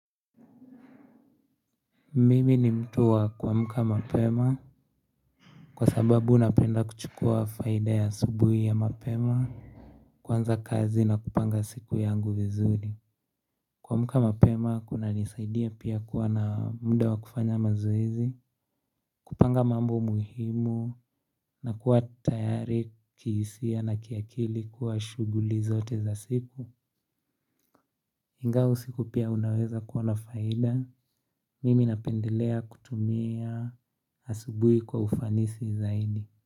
Mimi ni mtu wa kuamuka mapema. Kwa sababu napenda kuchukua faida ya asubuhi ya mapema. Kwanza kazi na kupanga siku yangu vizuri kuamka mapema kuna nisaidia pia kuwa na muda wa kufanya mazoezi. Kupanga mambo muhimu na kuwa tayari kihisia na kiakili kwa shughuli zote za siku ingawa usiku pia kunaweza kuona faida, mimi napendelea kutumia asubuhi kwa ufanisi zaidi.